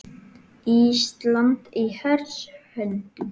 Ísland í hers höndum